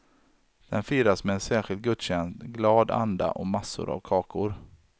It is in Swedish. Den firas med en särskild gudstjänst, glad anda och massor av kakor.